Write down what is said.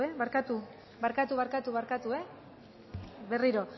barkatu barkatu barkatu barkatu barkatu berriro